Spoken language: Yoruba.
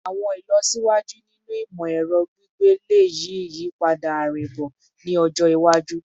Awọn ilọsiwaju ninu imọ-ẹrọ gbigbe le yi iyipada arinbo ni ọjọ iwaju